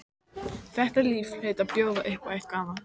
Þetta líf hlaut að bjóða upp á eitthvað annað.